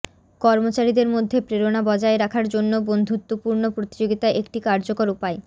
কর্মচারীদের মধ্যে প্রেরণা বজায় রাখার জন্যে বন্ধুত্বপূর্ণ প্রতিযোগিতা একটি কার্যকর উপায়